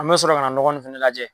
An mɛ sɔrɔ ka na nɔgɔ nin fɛnɛ lajɛ.